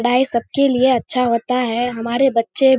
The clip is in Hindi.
पढ़ाई सब के लिए अच्छा होता है हमारे बच्चे --